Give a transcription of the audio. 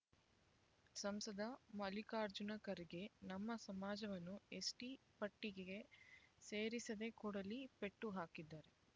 ಸಂಸದ ಮಲ್ಲಿಕಾರ್ಜುನ ಖರ್ಗೆ ನಮ್ಮ ಸಮಾಜವನ್ನು ಎಸ್ಟಿ ಪಟ್ಟಿಗೆ ಸೇರಿಸದೆ ಕೊಡಲಿ ಪೆಟ್ಟು ಹಾಕಿದ್ದಾರೆ